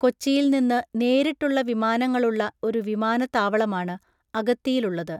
കൊച്ചിയിൽ നിന്ന് നേരിട്ടുള്ള വിമാനങ്ങളുള്ള ഒരു വിമാനത്താവളമാണ് അഗത്തിയിലുള്ളത്.